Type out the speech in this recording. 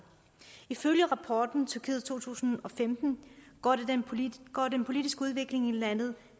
ifølge rapporten tyrkiet to tusind og femten går den politiske udvikling i landet